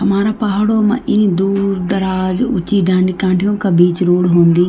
हमारा पहाड़ों मा इं दूर-दराज उ की डांडी काठियों का बीच रोड होंदी।